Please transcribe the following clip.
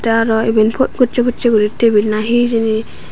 te arw eben po gosse posse guri tebil na hi hijeni.